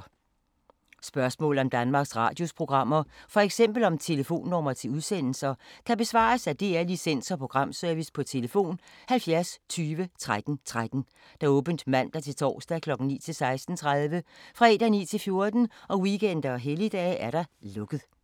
Spørgsmål om Danmarks Radios programmer, f.eks. om telefonnumre til udsendelser, kan besvares af DR Licens- og Programservice: tlf. 70 20 13 13, åbent mandag-torsdag 9.00-16.30, fredag 9.00-14.00, weekender og helligdage: lukket.